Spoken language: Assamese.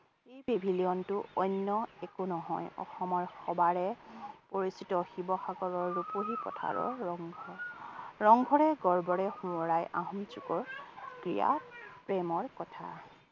এই pavilion টো অন্য একো নহয় অসমৰ সবাৰে পৰিচিত শিৱসাগৰৰ ৰূপহী পথাৰৰ ৰঙ ৰংঘৰ। ৰঙ ৰংঘৰে গৰ্বৰে শুৱৰাই আহোম যুগৰ ক্ৰীড়া প্ৰেমৰ কথা।